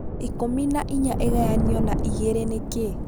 ikũmi na ĩna ĩgayanio na igĩrĩ nikĩĩ